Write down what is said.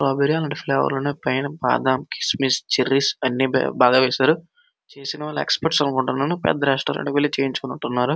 Strawberry అలంటి flavour ఉన్నాయ్ పైన బాదాం కిస్స్మిస్స్ చేరిస్ అని బాగా వేశారు చేసినవాళ్ళు ఎక్స్పర్ట్స్ అనుకుంటాను పెద్ద రెస్టురెంట్ కి వెళ్లి చేపించుకున్నటు ఉన్నారు.